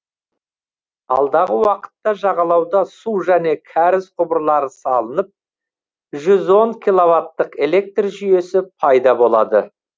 алдағы уақытта жағалауда су және кәріз құбырлары салынып жүз он киловаттық электр жүйесі пайда болады